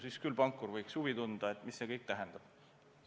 Siis küll võiks pankur huvi tunda, mida see kõik tähendab.